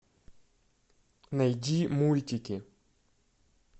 найди мультики